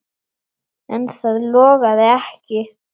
En það logaði ekki.